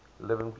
living people